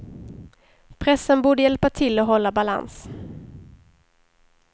Pressen borde hjälpa till att hålla balans.